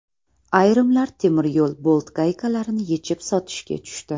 Ayrimlar temiryo‘l bolt-gaykalarini yechib sotishga tushdi .